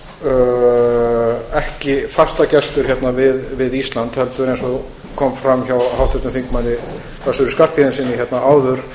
auðvitað ekki fastagestur hérna við ísland heldur eins og kom fram hjá háttvirtum þingmanni össuri skarphéðinssyni hérna áður